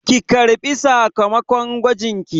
Ki ƙarɓi sakamakon gwajinki!